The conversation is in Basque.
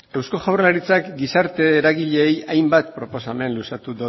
eusko jaurlaritzak gizarte eragileei hainbat proposamen luzatu